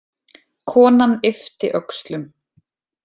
Konan yppti öxlum.